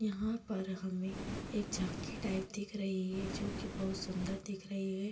यहाँ पर हमें एक झाँकी टाइप दिख रही है जो की बहुत सुन्दर दिख रही है।